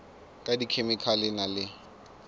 ka dikhemikhale e na le